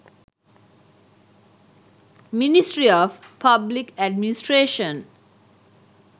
ministry of public administration